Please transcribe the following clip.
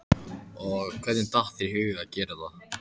Erla: Og hvernig datt þér í hug að gera þetta?